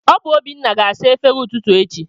Ọ bụ Obinna ga-asa efere ụtụtụ echi